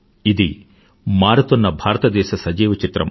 ఇది మారుతున్న భారతదేశ సజీవ చిత్రం